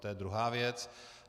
To je druhá věc.